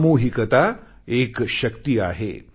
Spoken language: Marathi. सामूहिकता एक शक्ती आहे